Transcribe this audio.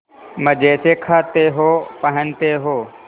मजे से खाते हो पहनते हो